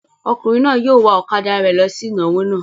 Ọkùnrin náà yóò wa ọ̀kadà rẹ̀ lọ sí ìnáwó náà.